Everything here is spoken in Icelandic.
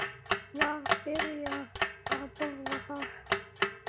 Var byrjað að bora þar